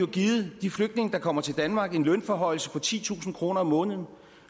givet de flygtninge der kommer til danmark en lønforhøjelse på titusind kroner om måneden